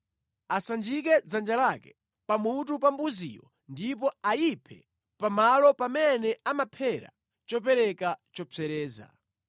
Asanjike dzanja lake pamutu pa mbuziyo ndipo ayiphe pamalo pamene amaphera chopereka chopsereza.